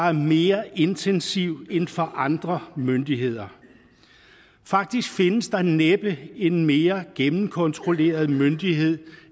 er mere intensiv end for andre myndigheder faktisk findes der næppe en mere gennemkontrolleret myndighed